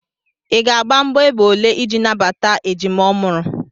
Ị ga-agba mgbọ égbè ole iji nabata ejima ọ mụrụ?